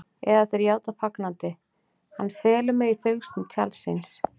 Eða þeir játa fagnandi: Hann felur mig í fylgsnum tjalds síns.